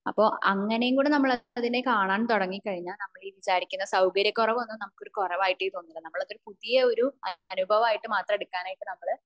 അപ്പൊ അങ്ങനെ കൂടെ നമ്മൾ അതിനെ കാണാൻ തുടങ്ങി കഴിഞ്ഞ നമ്മൾ വിചാരിക്കുന്ന സൗകര്യ കുറവൊന്നും നമുക്കൊരുകുറവായിട്ടെ തോന്നില്ല നമ്മൾ പുതിയൊരു അനുഭവയിട്ട് എടുക്കാനായിട്ട് നമ്മൾ